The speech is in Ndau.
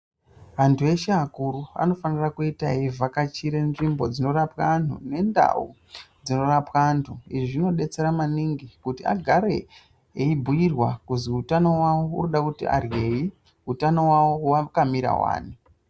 Antu eshe akuru anofanira kuite eivhakachire nzvimbo dzinorapwe antu nendau dzinorapwe antu izvi zvinodetsera maningi kuti agare eibhuirwa kuzi utano wawo urikuda kuti arheyi, utano wawo wakamira wani.